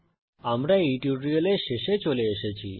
আমরা এই টিউটোরিয়ালের শেষে চলে এসেছি